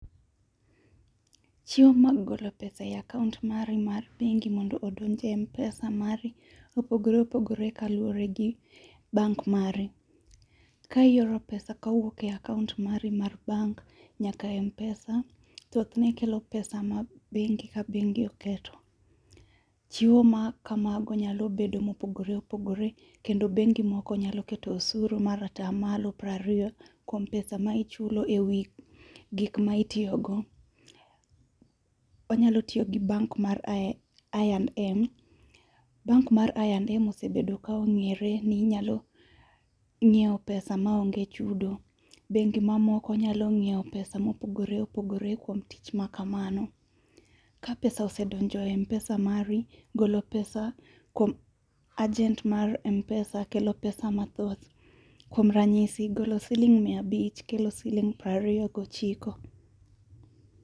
Chenro mar golo pesa e akaunt mari mar bengi mondo odonje Mpesa mari opogore opogor ekaluore gi bank mari. Ka ioro pesa kawuok e kaunt mari mar bank nyaka Mpesa thothne kelo pesa mar bengi ka bengi oketo. Chiwo ma kamago nyalo bedo mopogore opogore kendo bengi moko nyalo keto osuru mar atamalo prariyo kuom pesa ma ichulo ewi gik ma itiyo go. Wanyalo tiyo gi bank mar I&M,bank mar I&M ongere ni nyalo ngiew pesa maonge chudo, bengi mamoko nyalo nyiew pesa ma opogore opogore kuom tich makamano. Ka pesa osedonjo e Mpesa mari, golo pesa kuom ajent marMpesa kelo pesa mathoth. Kuom ranyisi mia abich kelo siling prariyo gochiko